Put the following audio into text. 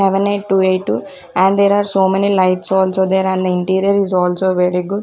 seven eight two eight two and there are so many lights also there and the interior is also very good.